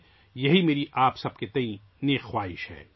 یہ آپ سب کے لیے میری نیک خواہش ہے